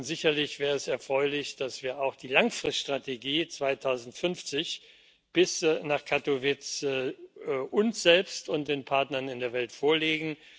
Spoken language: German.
Sicherlich wäre es erfreulich, dass wir auch die Langfriststrategie bis 2050 nach Katowice uns selbst und den Partnern in der Welt vorlegen.